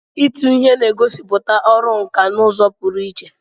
Ịtụ ihe na-egosipụta ọrụ nkà n'ụzọ pụrụ iche.